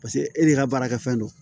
Paseke e de ka baarakɛfɛn don